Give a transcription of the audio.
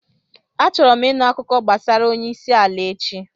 Achọrọ m ịnụ akụkọ gbasara onye isi ala echi.